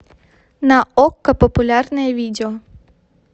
на окко популярное видео